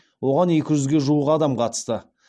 оған екі жүзге жуық адам қатысты